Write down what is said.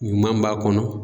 Ɲuman b'a kɔnɔ